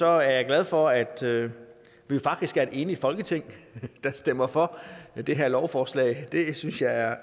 er jeg glad for at vi faktisk er et enigt folketing der stemmer for det her lovforslag det synes jeg er